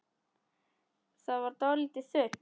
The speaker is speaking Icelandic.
Það varð dálítið þunnt.